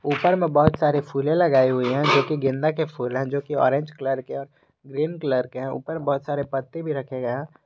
ऊपर मैं बहुत सारे फूल लगाए हुए हैं जोकि गेंदा के फूल है जो की ऑरेंज कलर के ग्रीन कलर के है ऊपर बहुत सारे पत्ते भी रखें गये हैं।